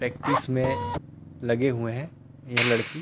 practice में लगे हुए हैं ये लड़की --